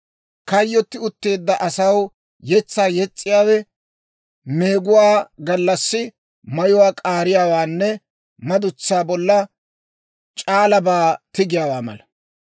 Kayyotti utteedda asaw yetsaa yes's'iyaawe meeguwaa gallassi mayuwaa k'aariyaawaanne madutsaa bolla c'aalabaa tigiyaawaa mala.